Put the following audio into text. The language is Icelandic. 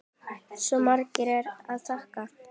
Svo margt er að þakka.